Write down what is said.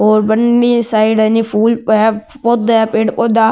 और बनी साइड है नि फूल पौधा है पेड़ पौधा है।